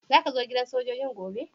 Zaka zo gidan sojoji'n gobe?